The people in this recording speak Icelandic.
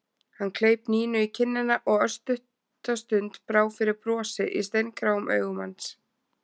Hann kleip Nínu í kinnina og örstutta stund brá fyrir brosi í steingráum augum hans.